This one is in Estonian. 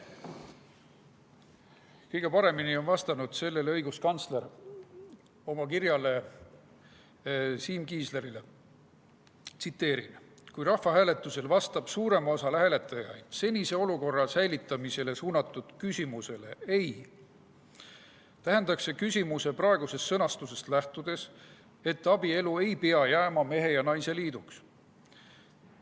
Kõige paremini on vastanud sellele õiguskantsler oma kirjas Siim Kiislerile: "Kui rahvahääletusel vastab suurem osa hääletajaid senise olukorra säilitamisele suunatud küsimusele "ei", tähendaks see küsimuse praegusest sõnastusest lähtudes, et abielu ei pea jääma mehe ja naise liiduks.